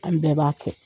An bɛɛ b'a kɛ